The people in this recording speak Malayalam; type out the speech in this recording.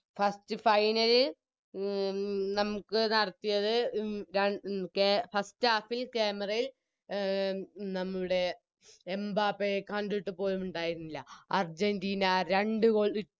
First final ൽ ഉം നമുക്ക് നടത്തിയത് ഉം ര ഉം കെ First half ൽ Camera യിൽ നമ്മുടെ എംബാപ്പയെ കണ്ടിട്ടുപോലും ഉണ്ടായിരുന്നില്ല അർജന്റീന രണ്ട് Goal